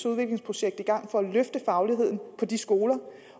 udviklingsprojekt i gang for at løfte fagligheden på de skoler